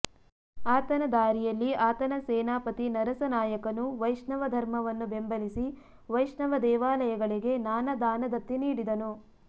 ಆತನ ದಾರಿಯಲ್ಲಿ ಆತನ ಸೇನಾಪತಿ ನರಸನಾಯಕನು ವೈಷ್ಣವ ಧರ್ಮವನ್ನು ಬೆಂಬಲಿಸಿ ವೈಷ್ಣವ ದೇವಾಲಯಗಳಿಗೆ ನಾನಾ ದಾನದತ್ತಿ ನೀಡಿದನು